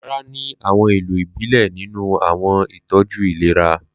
Laraa ní àwọn ìlò ìbílẹ̀ nínú àwọn ìtọ́jú ìlera.